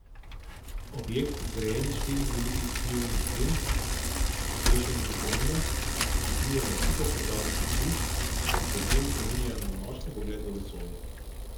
Objekt, zgrajen iz štirih velikih ukrivljenih sten, oblečenih v črnino, prekriva na tisoče drobnih luči, ki podnevi spominjajo na nočni pogled v vesolje.